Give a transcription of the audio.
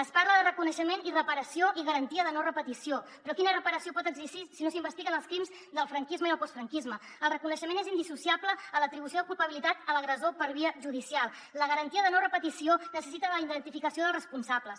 es parla de reconeixement i reparació i garantia de no repetició però quina reparació pot existir si no s’investiguen els crims del franquisme i el postfranquisme el reconeixement és indissociable de l’atribució de culpabilitat a l’agressor per via judicial la garantia de no repetició necessita la identificació dels responsables